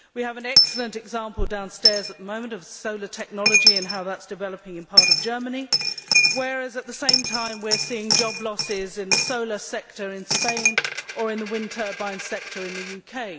We have an excellent example downstairs at the moment of solar technology and how that is developing in a part of Germany, whereas at the same time we are seeing job losses in the solar sector in Spain and in the wind turbine sector in the UK.